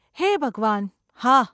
હે ભગવાન! હા.